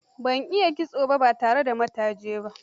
Ba a iya kitso ba tare da mataji ba.